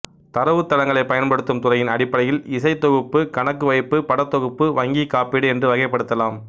தரவுத்தளங்களை பயன்படுத்தும் துறையின் அடிப்படையில் இசை தொகுப்பு கணக்கு வைப்பு படத்தொகுப்பு வங்கி காப்பீடு என்று வகைப்படுத்தலாம்